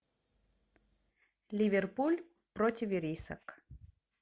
ливерпуль против ирисок